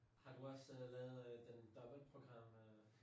Har du også lavet øh den dobbeltprogram øh?